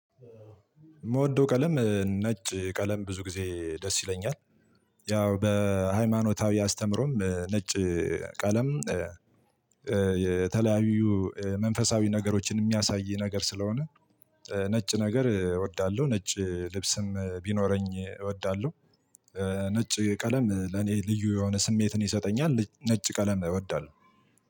ምወደው ቀለም ነጭ ቀለም ብዙ ጊዜ ደስ ይለኛል። ያው በሃይማኖታዊ አስተምሮም ነጭ ቀለም የተለያዩ መንፈሳዊ ነገሮችን የሚያሳይ ነገር ስለሆነ። ነጭ ነገር እወዳለሁ ነጭ ልብስም ቢኖረኝ እወዳለሁ። ነጭ ቀለም ለኔ ልዩ የሆነ ስሜትን ይሰጠኛል ነጭ ቀለም እወዳለሁ።